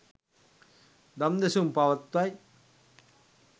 දම් දෙසුම් පවත්වයි.